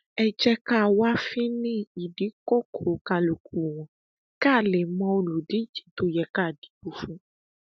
ẹ jẹ ká wá fínin ìdí kókò kálukú wọn ká lè mọ olùdíje tó yẹ ká dìbò fún